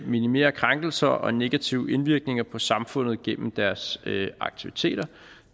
minimere krænkelser og negativ indvirkning på samfundet gennem deres aktiviteter